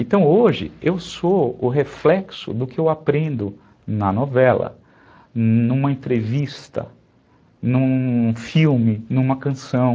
Então, hoje, eu sou o reflexo do que eu aprendo na novela, numa entrevista, num filme, numa canção.